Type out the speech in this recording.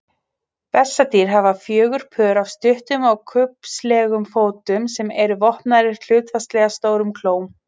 Bessadýr hafa fjögur pör af stuttum og kubbslegum fótum sem eru vopnaðir hlutfallslega stórum klóm.